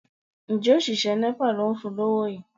Ǹjẹ́ òṣìṣẹ́ Nepa ló ń fún lówó yìí?